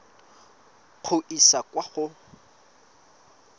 go e isa kwa go